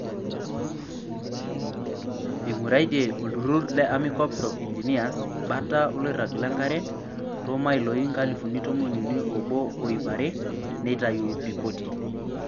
Einguraitie olturrur le Army Corps of Engineers bata oloirag lenkare toomailoi nkalifuni tomoniuni oobo oo iip rae neitayu ripoti.